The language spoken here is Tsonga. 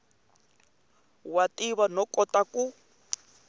wa tiva no kota ku